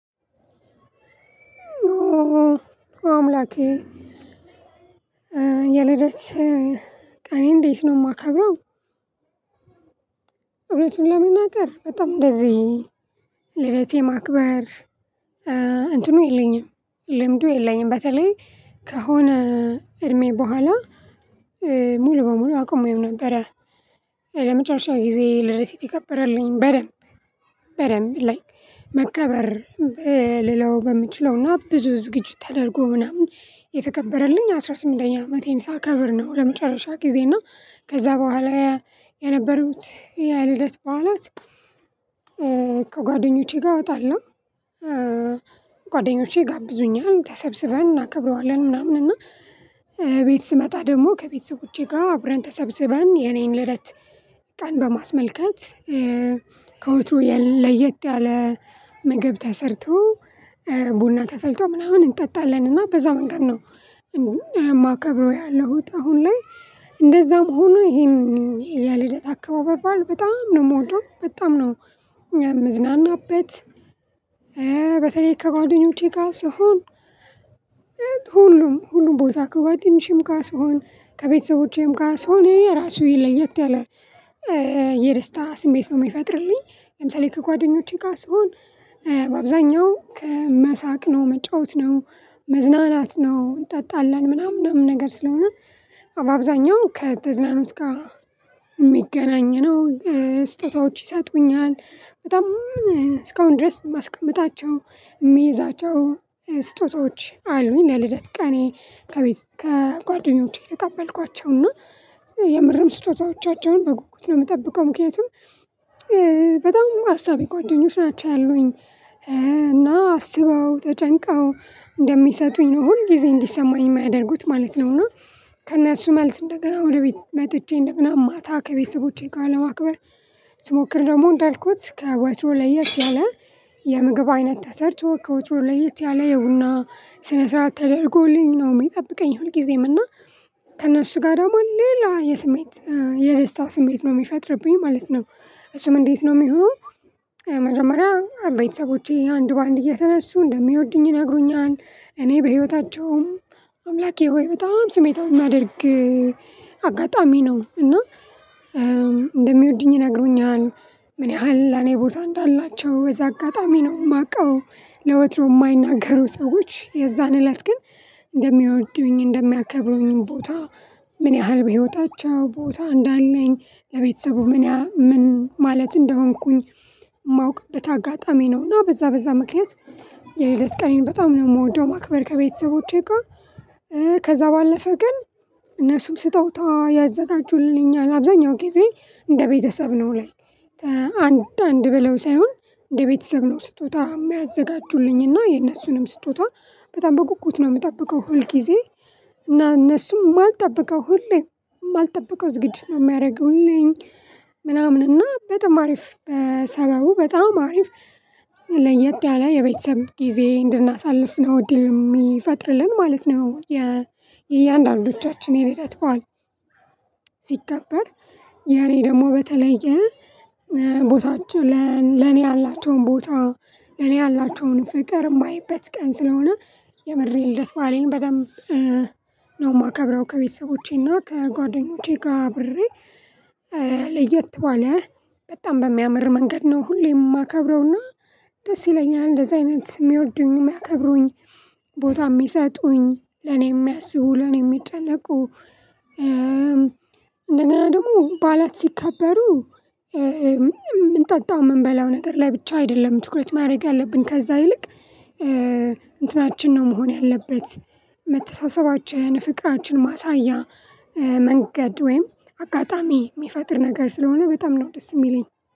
አምላኬ የልደት ቀኔን እንዴት ነው የማከብረው? እውነቱን ለመናገር በጣም እንደዚህ ልደት የማክበር እንትኑ የለኝም ልምዱ የለኝም። በተለይ ከሆነ እድሜ በኋላ ሙሉ በሙሉ አቁሜው ነበረ። ለመጨረሻ ጊዜ ልደቴ የተከበረልኝ በደንብ በደንብ ላይክ መከበር ልለው በምችለውና ብዙ ዝግጅት ተደርጎ ምናምን የተከበረልኝ አስራ ስምንተኛ አመቴን ሳከብር ነው። ለመጨረሻ ጊዜ እና ከዛ በኋላ የነበሩት የልደት በዓላት። ጋር እወጣለሁ ጓደኞቼ ይጋብዙኛል ተሰብስበን እናከብረዋለን ምናምን። እና ቤት ስመጣ ደግሞ ከቤተሰቦቼ ጋር አብረን ተሰብስበን የኔን ልደት ቀን በማስመልከት ከወትሮ ለየት ያለ ምግብ ተሰርቶ ቡና ተፈልቶ ምናምን እንጠጣለን እና በዛ መንገድ ነው። የማከብረው ያለሁት አሁን ላይ እንደዛም ሆኖ ይሄን የልደት አከባበር በጣም ነው የምወደው በጣም ነው። ምዝናናበት በተለይ ከጓደኞቼ ጋር ስሆን ሁሉም ሁሉም ቦታ ከጓደኞቼም ጋር ስሆን ከቤተሰቦቼም ጋር ስሆን የየራሱ ለየት ያለ የደስታ ስሜት ነው የሚፈጥርልኝ። ለምሳሌ ከጓደኞቼ ጋር ስሆን በአብዛኛው ከመሳቅ ነው መጫወት ነው መዝናናት ነው እንጠጣለን ምናምን ምናምን ነገር ስለሆነ አብዛኛው ከተዝናኖት ጋር የሚገናኝ ነው። ስጦታዎችች ይሰጡኛል በጣም እስካሁን ድረስ የማስቀምጣቸው የሚይዛቸው ስጦታዎች አሉኝ። ለልደት ቀኔ ከጓደኞቼ የተቀበልኳቸውና የምርም ስጦታዎቻቸውን በጉጉት ነው የምጠብቀው ምክንያቱም በጣም አሳቢ ጓደኞች ናቸው ያሉኝ እና አስበው ተጨንቀው እንደሚሰጡኝ ነው ሁል ጊዜ እንዲሰማኝ የሚያደርጉት ማለት ነው። እና ከእነሱ መልስ እንደገና ወቤት መጥቼ እንደገና ማታ ከቤተሰቦቼ ጋር ለማክበር ስሞክር ደግሞ እንዳልኩት ከወትሮ ለየት ያለ የምግብ አይነት ተሰርቶ ከወትሮ ለየት ያለ የቡና ስነ ስርዓት ተደርጎልኝ ነው የሚጠብቀኝ ሁልጊዜም እና ከእነሱ ጋር ደግሞ ሌላ የስሜት የደስታ ስሜት ነው የሚፈጥርብኝ ማለት ነው። እሱም እንዴት ነው የሚሆነው? መጀመሪያ ቤተሰቦቼ አንድ በአንድ እየተነሱ እንደሚወዱኝ ይነግሩኛል እኔ በህይወታቸውም አምላኬ ሆይ በጣም ስሜታዊ የሚያደርግ አጋጣሚ ነው እና እንደሚወዱኝ ይነግሩኛል ምን ያህል ለእኔ ቦታ እንዳላቸው በዚ አጋጣሚ ነው። የማውቀው ለወትሮ የማይናገሩ ሰዎች የዛን እለት ግን እንደሚወዱኝ እንደሚያከብሩኝ ቦታ ምን ያህል በህይወታቸው ቦታ እንዳለኝ ለቤተሰቡ ምን ምን ማለት እንደሆንኩኝ ማወቅበት አጋጣሚ ነው። እና በዛ በዛ ምክንያት የልደት ቀኔን በጣም ነው የምወደው። ማክበር ከቤተሰቦቼ ጋር ከዛ ባለፈ ግን እነሱም ስጦታ ያዘጋጁልኛል አብዛኛው ጊዜ እንደ ቤተሰብ ነው ላይክ አንድ አንድ ብለው ሳይሆን እንደ ቤተሰብ ነው ስጦታ የሚያዘጋጁልኝና የነሱንም ስጦታ በጣም በጉጉት ነው የምጠብቀው ሁል ጊዜ እና እነሱም የማልጠብቀው ሁሌ የማልጠብቀው ዝግጅት ነው የሚያደርጉልኝ ምናምን እና በጣም አሪፍ በሰበቡ በጣም አሪፍ ለየት ያለ የቤተሰብ ጊዜ እንድናሳልፍ ነው እድል የሚፈጥርልን ማለት ነው። የእያንዳንዶቻችን የልደት በዓል ሲከበር የኔ ደግሞ በተለየ ቦታቸው ለኔ ያላቸውን ቦታ ለኔ ያላቸውን ፍቅር የማየበት ቀን ስለሆነ የምር የልደት በዓሌን በደንብ ነው የማከብረው። ከቤተሰቦቼና ከጓደኞቼ ጋር አብሬ ለየት ባለ በጣም በሚያምር መንገድ ነው ሁሌም የማከብረውና ደስ ይለኛል እንደዚህ አይነት የሚወዱኝ የሚያከብሩኝ ቦታ የሚሰጡኝ ለኔ የሚያስቡ ለኔ የሚጨነቁ። እንደገና ደግሞ በዓላት ሲከበሩ የምንጠጣው የምንበላው ነገር ላይ ብቻ አይደለም ትኩረት ማድረግ ያለብን ከዛ ይልቅ እንትናችን ነው መሆን ያለበት መተሳሰባችን ፍቅራችን ማሳያ መንገድ ወይም አጋጣሚ የሚፈጥር ነገር ስለሆነ በጣም ነው ደስ የሚለኝ